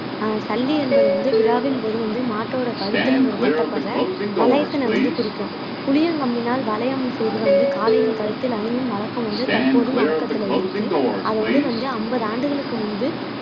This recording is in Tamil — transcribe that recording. ஆஹ் சல்லி என்பது வந்து விழாவின் போது வந்து மாட்டோட கழுத்துல ஒரு கட்டப்படுற வளையத்தினை வந்து குறிக்கும் புளியங்கம்பினால் வளையம் செய்து வந்து காளையின் கழுத்தில் அணியும் வழக்கம் வந்து தற்போதும் வழக்கத்துல இருக்கு அதோடு வந்து ஐம்பது ஆண்டுகளுக்கு முன்பு